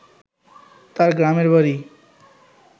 তার গ্রামের বাড়ি